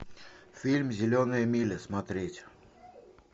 фильм зеленая миля смотреть